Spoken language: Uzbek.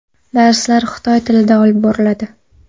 Darslar xitoy tilida olib boriladi.